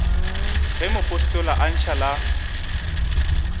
ge mopostola a ntšha la